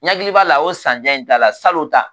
N hakili b'a la o san jan in ta la salon ta